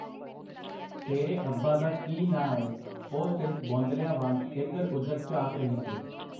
ਤੇਰੇ ਅੱਬਾ ਦਾ ਕੀ ਨਾਂ ਐ? ਉਹ ਸਿਰਫ਼ ਬੌਂਦਲਿਆਂ ਵਾਂਗ ਇਧਰ ਉਧਰ ਝਾਕ ਰਹੀ ਸੀ.